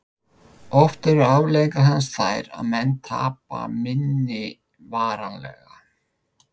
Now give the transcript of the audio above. Oft eru afleiðingar hans þær að menn tapa minni varanlega.